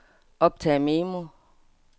optag memo